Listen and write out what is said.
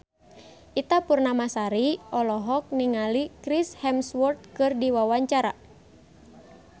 Ita Purnamasari olohok ningali Chris Hemsworth keur diwawancara